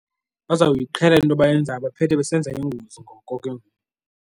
Bazawuyiqhela le nto bayenzayo baphethe besenza iingozi ngoko ke ngoku.